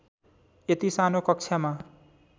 यति सानो कक्षामा